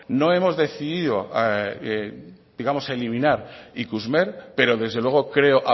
no hemos decidido digamos eliminar ikusmer pero desde luego creo